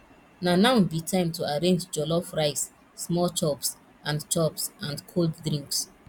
na now be time to arrange jollof rice small chops and chops and cold drinks